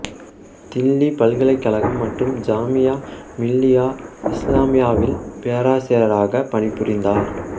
தில்லி பல்கலைக்கழகம் மற்றும் ஜாமியா மிலியா இசுலாமியாவில் பேராசிரியராகப் பணிபுரிந்தார்